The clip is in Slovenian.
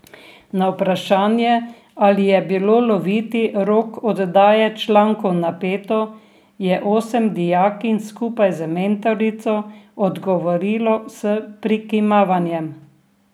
Na vprašanje, ali je bilo loviti rok oddaje člankov napeto, je osem dijakinj skupaj z mentorico odgovorilo s prikimavanjem.